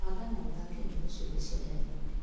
Banga na ũthake nyĩmbo ciothe cia Deamonde.